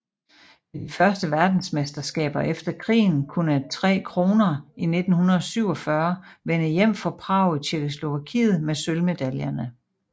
Ved de første verdensmesterskaber efter krigen kunne Tre Kronor i 1947 vende hjem fra Prag i Tjekkoslovakiet med sølvmedaljerne